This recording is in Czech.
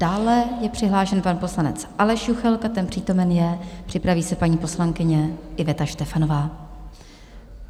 Dále je přihlášen pan poslanec Aleš Juchelka, ten přítomen je, připraví se paní poslankyně Iveta Štefanová.